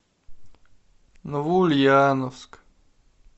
новоульяновск